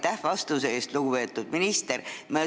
Aitäh vastuse eest, lugupeetud minister!